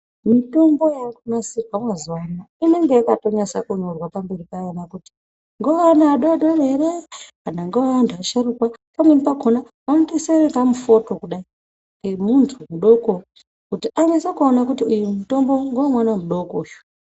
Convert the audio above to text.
Mitombo yakunasirwa mazuvaano inenge yakanasa kunyorwa pamberi payona kuti ngeweana adodori ere kana kuti ngewe antu asharukwa pamweni pakhona vanotonasa kuisa kamufoto kudai kemuntu mudoko kuti anase kuona kuti uyu mutombo ngewemwana mudoko uyu.